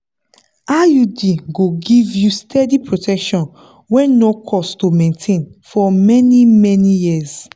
iud go give you steady protection wey no cost to maintain for many-many years.